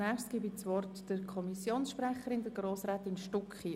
Ich erteile das Wort der Kommissionssprecherin, Grossrätin Stucki.